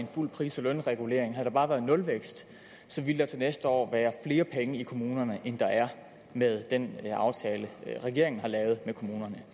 en fuld pris og lønregulering havde der bare været nulvækst så ville der til næste år være flere penge i kommunerne end der er med den aftale regeringen har lavet med kommunerne